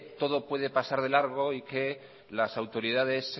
todo puede pasar de largo y que las autoridades